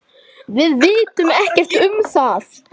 Við vitum ekkert um það.